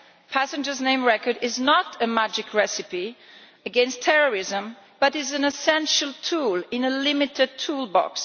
Passenger name records are not a magic recipe against terrorism but an essential tool in a limited toolbox.